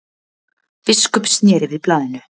Biskup sneri við blaðinu.